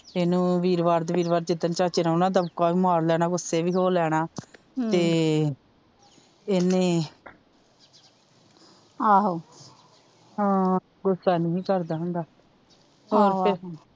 Eno ਵੀਰਵਾਰ ਦੇ ਵੀਰਵਾਰ ਜਿਸਦੀਨ ਚਾਚੇ ਨੇ ਆਉਣਾ ਦਬਕਾ ਵੀ ਮਾਰ ਲੇਨਾਂ ਗੁੱਸੇ ਵੀ ਹੋ ਲੇਨਾਂ ਤੇ ਏਨੇ ਆਹੋ ਹਮਮ ਗੁੱਸਾ ਨੀ ਸੀ ਕਰਦਾ ਹੁੰਦਾ ਆਹੋ ਆਹੋ ਹੋਰ ਫਿਰ,